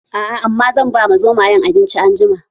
Aa, amma zan bama Zomayen abinci anjima